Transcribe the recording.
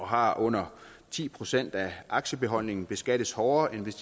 har under ti procent af aktiebeholdningen beskattes hårdere end hvis